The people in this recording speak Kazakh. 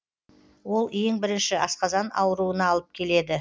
ол ең бірінші асқазан ауруына алып келеді